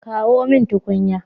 Kawo mun tukunya